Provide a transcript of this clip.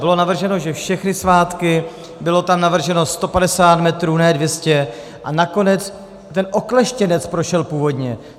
Bylo navrženo, že všechny svátky, bylo tam navrženo 150 metrů, ne 200, a nakonec ten okleštěnec prošel původně.